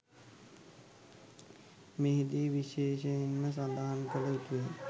මෙහිදී විශේෂයෙන්ම සඳහන් කල යුතුය.